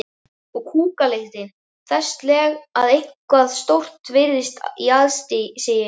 Og kúkalyktin þessleg að eitthvað stórt virtist í aðsigi.